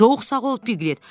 Çox sağ ol Piglet.